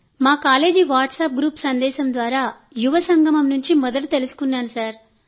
మా college WhatsApp group సందేశం ద్వారా యువ సంగమం గురించి మొదట తెలుసుకున్నాను